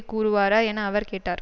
கூறுவாரா என அவர் கேட்டார்